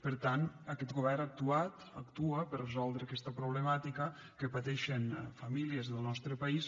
per tant aquest govern ha actuat actua per resoldre aquesta problemàtica que pateixen famílies del nostre país